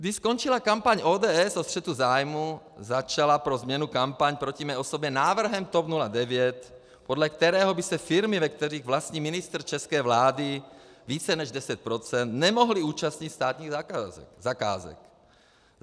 Když skončila kampaň ODS o střetu zájmů, začala pro změnu kampaň proti mé osobě návrhem TOP 09, podle kterého by se firmy, ve kterých vlastní ministr české vlády více než 10 %, nemohly účastnit státních zakázek.